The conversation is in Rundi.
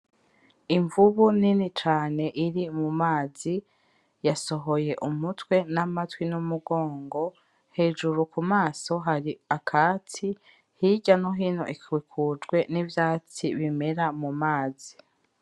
Imvubu nini cane iri mumazi yasohoye umutwe n'amatwi n'umugongo, hejuru ku maso hari akatsi, hirya no hino ikikujwe n'ivyatsi bimera mu mazi.